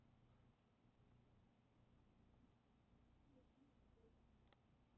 Við erum með frábæra leikmenn en neitum við því að við stólum á Messi?